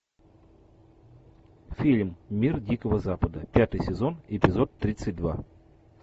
фильм мир дикого запада пятый сезон эпизод тридцать два